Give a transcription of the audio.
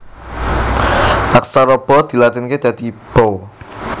Aksara Ba dilatinaké dadi Ba